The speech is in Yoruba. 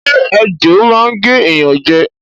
Ṣé ejò máa n gé ẹ̀yán jẹ